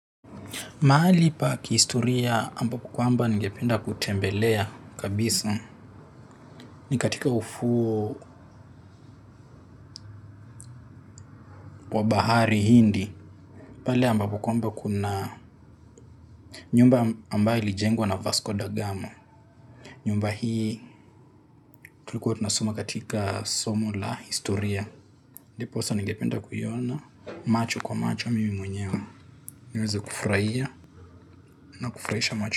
Mahali pa kihistoria ambapo kkwamba ningependa kutembelea kabisa ni katika ufuo wa bahari hindi. Pale ambapo kwamba kuna nyumba ambayo ilijengwa na Vasco da Gama. Nyumba hii tulikuwa tunasoma katika somo la historia. Ndiposa ningependa kuiona macho kwa macho mimi mwenyewe. Niweze kufurahia na kufurahisha macho.